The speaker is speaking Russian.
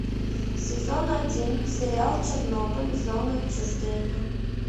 сезон один сериал чернобыль зона отчуждения